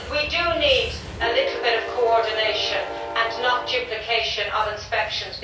we need a little bit of coordination and not duplication of inspections.